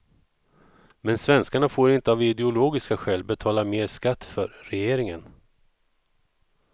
Men svenskarna får inte av ideologiska skäl betala mer skatt för regeringen.